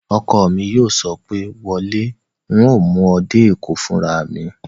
Ọkọ mi yóò sọ pé, "wọ lé, un ó mú ọ dé Èkó fúnra mi!"